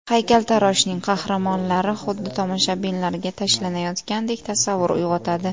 Haykaltaroshning qahramonlari xuddi tomoshabinlarga tashlanayotgandek tasavvur uyg‘otadi.